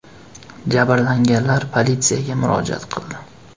Jabrlanganlar politsiyaga murojaat qildi.